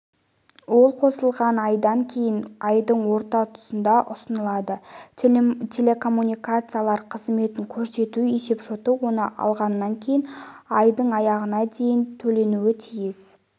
ол қосылған айдан кейінгі айдың орта тұсында ұсынылады телекоммуникациялар қызметін көрсету есепшоты оны алғаннан кейін айдың аяғына дейін төленуі тиіс